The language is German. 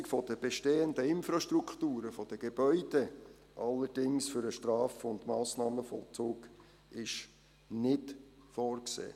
Die Umnutzung der bestehenden Infrastrukturen, der Gebäude für den Straf- und Massnahmenvollzug ist allerdings nicht vorgesehen.